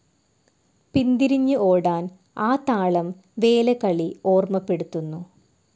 പിന്തിരിഞ്ഞ് ഓടാൻ ആ താളം വേലകളി ഓർമ്മപ്പെടുത്തുന്നു